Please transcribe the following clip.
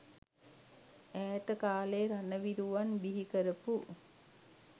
ඈත කාලයේ රණවිරුවන් බිහි කරපු